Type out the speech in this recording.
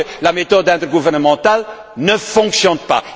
Parce que la méthode intergouvernementale ne fonctionne pas.